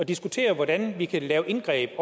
og diskuterer hvordan vi kan lave indgreb